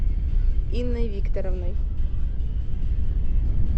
инной викторовной